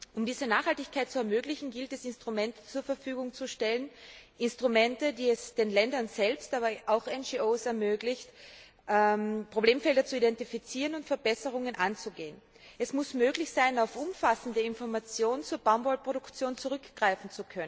Um diese Nachhaltigkeit zu ermöglichen, gilt es, Instrumente zur Verfügung zu stellen, die es den Ländern selbst, aber auch NRO ermöglichen, Problemfelder zu identifizieren und Verbesserungen anzugehen. Es muss möglich sein, auf umfassende Informationen zur Baumwollproduktion zurückzugreifen.